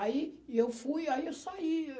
Aí e eu fui, aí eu saí.